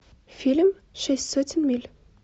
фильм шесть сотен миль